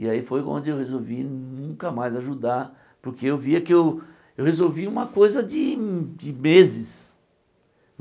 E aí foi onde eu resolvi nunca mais ajudar, porque eu via que eu eu resolvi uma coisa de de meses.